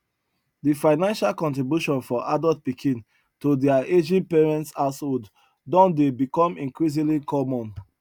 de financial contribution for adult pikin to their aging parents household don dey become increasingly common